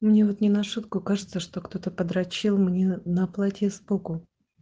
мне вот не на шутку кажется что кто-то подрочил мне на платье сбоку